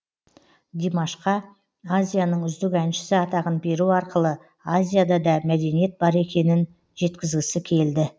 димашқа азияның үздік әншісі атағын беру арқылы азияда да мәдениет бар екенін жеткізгісі келді